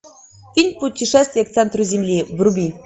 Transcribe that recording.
фильм путешествие к центру земли вруби